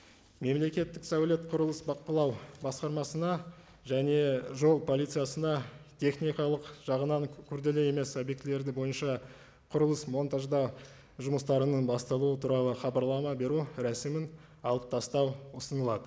мемлекеттік сәулет құрылыс бақылау басқармасына және жол полициясына техникалық жағынан күрделі емес объектілерді бойынша құрылыс монтаждау жұмыстарының басталуы туралы хабарлама беру рәсімін алып тастау ұсынылады